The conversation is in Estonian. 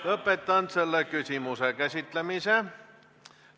Lõpetan selle küsimuse käsitlemise.